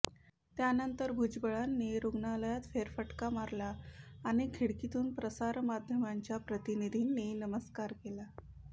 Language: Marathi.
त्यानंतर भुजबळांनी रुग्णालयात फेरफटका मारला आणि खिडकीतून प्रसारमाध्यमांच्या प्रतिनिधींनी नमस्कार केला